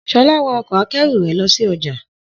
Shola wa ọkọ̀-akẹ́rù rẹ̀ lọ sí ọjà